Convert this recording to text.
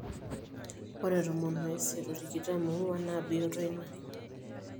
ore tomon oisiet o tikitam oong'wan naa bioto ina